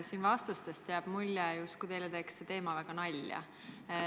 Siin antud vastustest jääb mulje, justkui teeks see teema teile väga nalja.